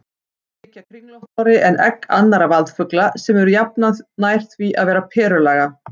Eggin þykja kringlóttari en egg annarra vaðfugla sem eru jafnan nær því að vera perulaga.